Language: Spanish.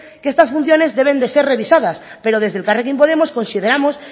que estas funciones deben de ser revisadas pero desde elkarrekin podemos consideramos